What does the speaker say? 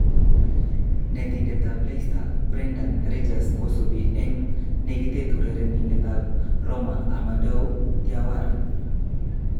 (Football Insider) Netindet ab Leicester Brendan Ridgers kosubi eng negitet urerenindet ab Roma Amadou Diawara.